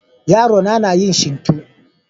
yaro na yin shinto.